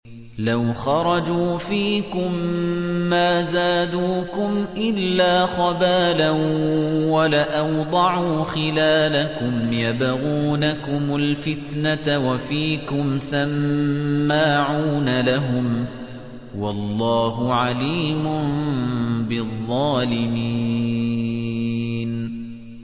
لَوْ خَرَجُوا فِيكُم مَّا زَادُوكُمْ إِلَّا خَبَالًا وَلَأَوْضَعُوا خِلَالَكُمْ يَبْغُونَكُمُ الْفِتْنَةَ وَفِيكُمْ سَمَّاعُونَ لَهُمْ ۗ وَاللَّهُ عَلِيمٌ بِالظَّالِمِينَ